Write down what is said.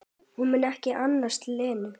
Hún mun ekki annast Lenu.